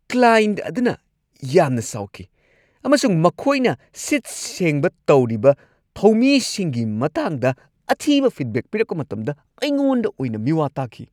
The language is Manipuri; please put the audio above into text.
ꯀ꯭ꯂꯥꯢꯟꯠ ꯑꯗꯨꯅ ꯌꯥꯝꯅ ꯁꯥꯎꯈꯤ ꯑꯃꯁꯨꯡ ꯃꯈꯣꯏꯅ ꯁꯤꯠ-ꯁꯦꯡꯕ ꯇꯧꯔꯤꯕ ꯊꯧꯃꯤꯁꯤꯡꯒꯤ ꯃꯇꯥꯡꯗ ꯑꯊꯤꯕ ꯐꯤꯗꯕꯦꯛ ꯄꯤꯔꯛꯄ ꯃꯇꯝꯗ ꯑꯩꯉꯣꯟꯗ ꯑꯣꯏꯅ ꯃꯤꯋꯥ ꯇꯥꯈꯤ ꯫